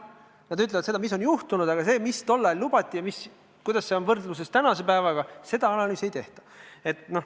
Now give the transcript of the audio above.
Nad ütlevad seda, mis on juhtunud, aga see, mida tol ajal lubati ja mida on tänaseks päevaks saavutatud –seda analüüsi tehtud ei ole.